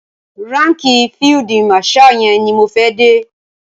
Ránkìì field marshal yẹn ni mo fẹ́ dé.